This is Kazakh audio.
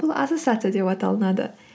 бұл ассоциация деп аталынады